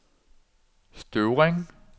Støvring